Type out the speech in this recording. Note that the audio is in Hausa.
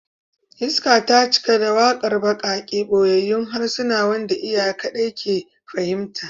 Iska ta cika da waƙar baƙaƙe, ɓoyayyun harshe wanda iyaye kaɗai ke iya fahimta